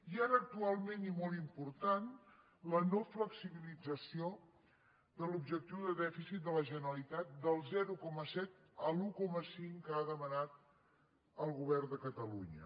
i ara actualment i molt important la no flexibilització de l’objectiu de dèficit de la generalitat del zero coma set a l’un coma cinc que ha demanat el govern de catalunya